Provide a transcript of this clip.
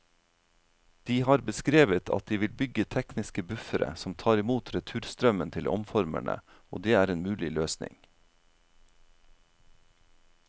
De har beskrevet at de vil bygge tekniske buffere som tar imot returstrømmen til omformerne, og det er en mulig løsning.